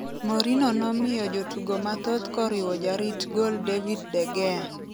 Mourinho nomiyo jotugo mathoth koriwo jarit gol David De Gea.